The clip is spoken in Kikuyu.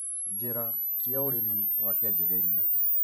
Njĩra cia ũrĩmi wa kĩanjĩrĩria